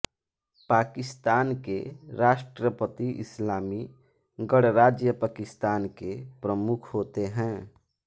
पाकिस्तान के राष्ट्रपति इस्लामी गणराज्य पाकिस्तान के प्रमुख होते हैं